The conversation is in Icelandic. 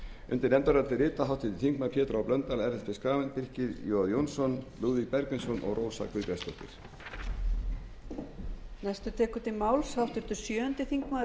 undir nefndarálitið rita háttvirtir þingmenn pétur h blöndal ellert b schram birkir j jónsson lúðvík bergvinsson og rósa guðbjartsdóttir